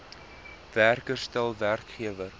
werker stel werkgewer